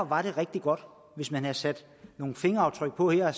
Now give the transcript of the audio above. var det rigtig godt hvis man havde sat nogle fingeraftryk på her og